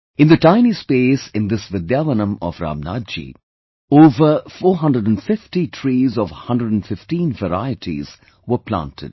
In the tiny space in this Vidyavanam of Ramnathji, over 450 trees of 115 varieties were planted